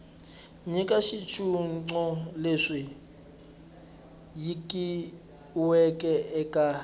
nyika xitshunxo lexi nyikiweke eka